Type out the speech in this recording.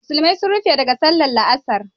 Musulmai sun rufe daga sallar la'asar